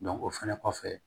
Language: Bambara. o fɛnɛ kɔfɛ